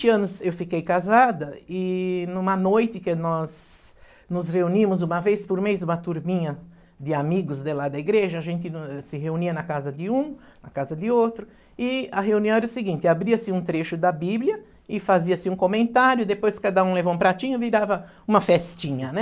vinte anos eu fiquei casada e numa noite que nós nos reunimos uma vez por mês, uma turminha de amigos de lá da igreja, a gente se reunia na casa de um, na casa de outro, e a reunião era o seguinte, abria-se um trecho da Bíblia e fazia-se um comentário, depois cada um levava um pratinho e virava uma festinha, né?